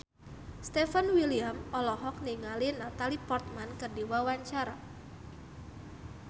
Stefan William olohok ningali Natalie Portman keur diwawancara